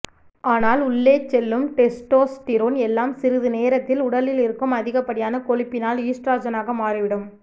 ஆனால் உள்ளே செல்லும் டெஸ்டோஸ்டிரோன் எல்லாம் சிறிது நேரத்தில் உடலில் இருக்கும் அதிகப்படியான கொழுப்பினால் ஈஸ்ட்ரஜனாக மாறிவிடும்